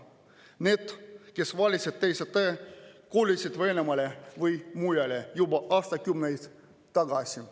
Need, kes valisid teise tee, kolisid Venemaale või mujale juba aastakümneid tagasi.